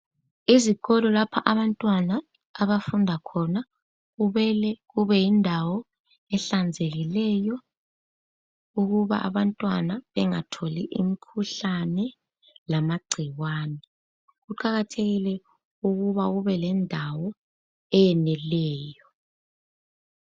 Izikolo lapha abantwana abafunda khona kumele kube yindawo ehlanzekileyo ukuba abantwana bengatholi imikhuhlane lamagcikwane kuqakathekile ukuba kube lendawo eyeneleyo.